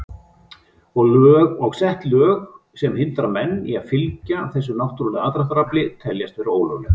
Og sett lög sem hindra menn í að fylgja þessu náttúrulega aðdráttarafli teljast vera ólög.